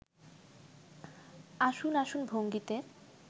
আসুন আসুন ভঙ্গিতে